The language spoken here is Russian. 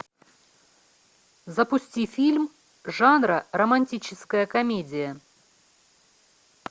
запусти фильм жанра романтическая комедия